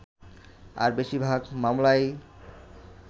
আর বেশিরভাগ মামলাই